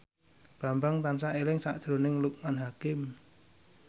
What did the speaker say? Bambang tansah eling sakjroning Loekman Hakim